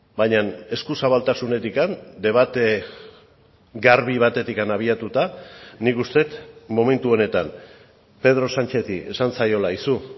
baina eskuzabaltasunetik debate garbi batetik abiatuta nik uste dut momentu honetan pedro sánchezi esan zaiola aizu